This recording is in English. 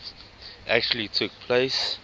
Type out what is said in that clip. actually took place